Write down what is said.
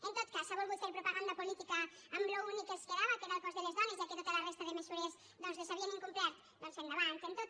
en tot cas han volgut fer propaganda política amb l’únic que els quedava que era el cos de les dones ja que tota la resta de mesures doncs les havien incomplert